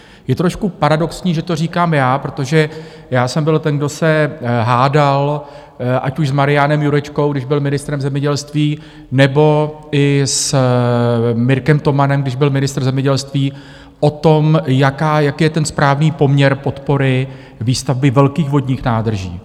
Je trošku paradoxní, že to říkám já, protože já jsem byl ten, kdo se hádal ať už s Marianem Jurečkou, když byl ministrem zemědělství, nebo i s Mirkem Tomanem, když byl ministr zemědělství, o tom, jak je ten správný poměr podpory výstavby velkých vodních nádrží.